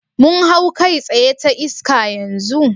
Mun hau kai tsaye ta iska yanzu?